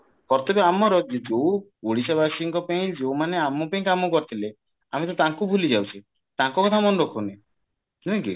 ଆମର ଯୋଉ ଓଡିଶାବାସୀଙ୍କ ପେଇଁ ଯୋଉମାନେ ଆମ ପେଇଁ କାମ କରିଥିଲେ ଆମେ ତ ତାଙ୍କୁ ଭୁଲି ଯାଉଛେ ତାଙ୍କ କଥା ମନେ ରଖୁନେ ନୁହେଁ କି